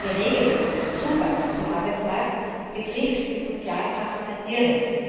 Die Regelung des Zugangs zum Arbeitsmarkt betrifft die Sozialpartner direkt.